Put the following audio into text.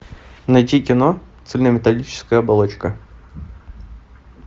найти кино цельнометаллическая оболочка